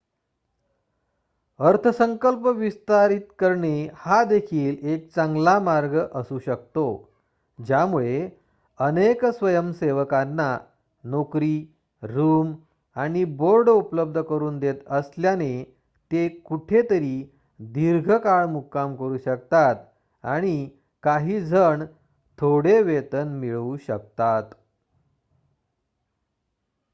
अर्थसंकल्प विस्तारित करणे हा देखील एक चांगला मार्ग असू शकतो ज्यामुळे अनेक स्वयंसेवकांना नोकरी रूम आणि बोर्ड उपलब्ध करून देत असल्याने ते कुठेतरी दीर्घ काळ मुक्काम करू शकतात आणि काही जण थोडे वेतन मिळवू शकतात